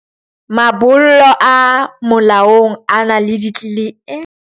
Mabollo a molaong a na le .